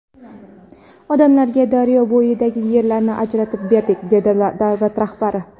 Odamlarga daryo bo‘yidagi yerlarni ajratib berdik”, dedi davlat rahbari.